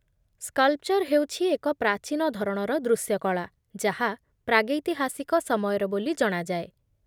sculpture ହେଉଛି ଏକ ପ୍ରାଚୀନ ଧରଣର ଦୃଶ୍ୟକଳା ଯାହା ପ୍ରାଗୈତିହାସିକ ସମୟର ବୋଲି ଜଣାଯାଏ